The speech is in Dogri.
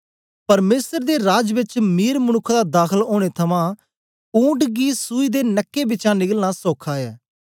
परमेसर दे राज बेच मीर मनुक्ख दा दाखल ओनें थमां ऊंट गी सूई दे नके बिचें निकलना सौखा ऐ